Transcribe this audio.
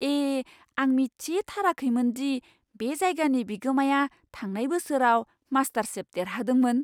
ए, आं मिथिथाराखैमोन दि बे जायगानि बिगोमाया थांनाय बोसोराव मास्टरशेफ देरहादोंमोन!